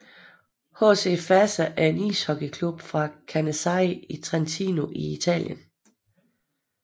HC Fassa er en ishockeyklub fra Canazei i Trentino i Italien